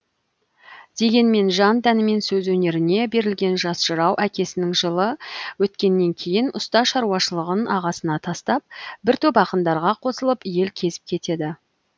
дегенмен жан тәнімен сөз өнеріне берілген жас жырау әкесінің жылы өткеннен кейін ұста шаруашылығын ағасына тастап бір топ ақындарға қосылып ел кезіп кетеді